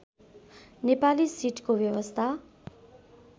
नेपाली सिटको व्यवस्था